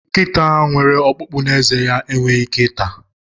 Nkịta nwere ọkpụkpụ n'ezé ya enweghị ike ata.